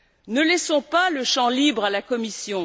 Ne laissons pas le champ libre à la Commission.